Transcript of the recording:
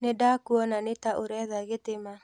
Nĩdakuona nĩ ta ũretha gĩtĩ ma.